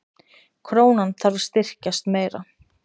Krónan þarf að styrkjast meira